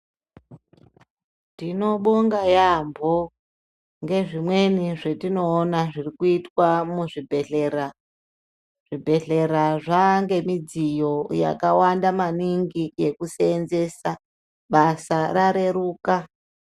Tinobonga yambo ngezvimweni zvetinowona zvirikuitwa muzvibhedhlera. Zvibhedhlera zvange midziyo yakawanda maningi yekusenzesa. Basa rareruka.